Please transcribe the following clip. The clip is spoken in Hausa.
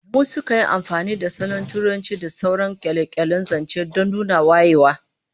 Mutanen biranen kasar mu sukan yi amfani da salon Turanci da sauran kyale-kyalen zance don nuna wayewa